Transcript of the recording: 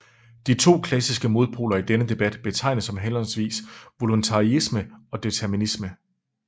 De to klassiske modpoler i denne debat betegnes som henholdsvis voluntaryisme og determinisme